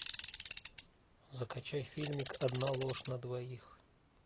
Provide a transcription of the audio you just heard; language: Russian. закачай фильмик одна ложь на двоих